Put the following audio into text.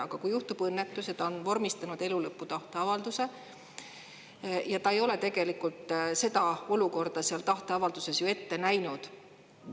Aga kui juhtub õnnetus ja ta on vormistanud elu lõpu tahteavalduse ja ta ei ole tegelikult seda olukorda seal tahteavalduses ette näinud.